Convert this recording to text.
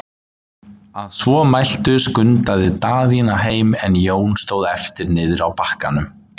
Að svo mæltu skundaði Daðína heim, en Jón stóð eftir niðri á bakkanum.